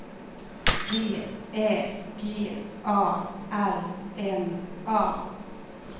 V Ä G A R N A